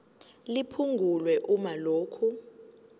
liphungulwe uma lokhu